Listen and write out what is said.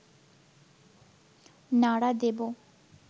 নাড়া দেব